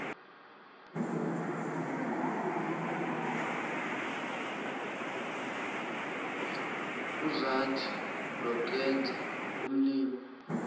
uzwathi lokwenza umli